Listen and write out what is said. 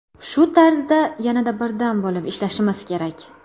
Shu tarzda yanada birdam bo‘lib ishlashimiz kerak.